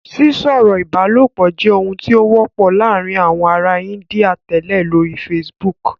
Sísọ̀rọ̀ ìbálòpọ̀ jẹ́ ohun tí ó wọ́pọ̀ láàárín àwọn ará Índíà tẹ́lẹ̀ lórí Facebook